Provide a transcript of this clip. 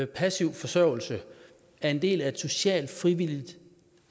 passiv forsørgelse er en del af et socialt frivilligt